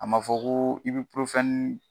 A ma fɔ ko